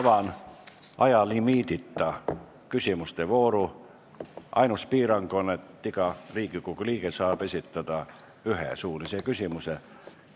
Avan ajalimiidita küsimustevooru, ainus piirang on, et iga Riigikogu liige saab küsida ühe suulise küsimuse.